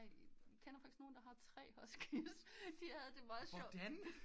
Jeg kender faktisk nogen der har tre huskys de havde det meget sjovt